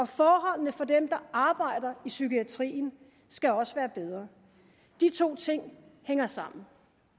forholdene for dem der arbejder i psykiatrien skal også være bedre de to ting hænger sammen